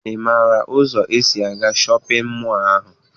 Ị maara ụzọ esi aga shọpịn mọọ ahụ?